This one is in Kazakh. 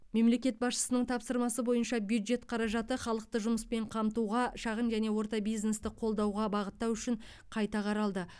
мемлекет басшысының тапсырмасы бойынша бюджет қаражаты халықты жұмыспен қамтуға шағын және орта бизнесті қолдауға бағыттау үшін қайта қаралды